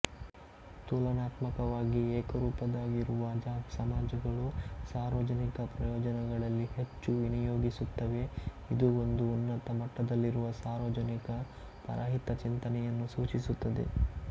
ತುಲನಾತ್ಮಕವಾಗಿ ಏಕರೂಪದ್ದಾಗಿರುವ ಸಮಾಜಗಳು ಸಾರ್ವಜನಿಕ ಪ್ರಯೋಜನಗಳಲ್ಲಿ ಹೆಚ್ಚು ವಿನಿಯೋಗಿಸುತ್ತವೆ ಇದು ಒಂದು ಉನ್ನತ ಮಟ್ಟದಲ್ಲಿರುವ ಸಾರ್ವಜನಿಕ ಪರಹಿತಚಿಂತನೆಯನ್ನು ಸೂಚಿಸುತ್ತದೆ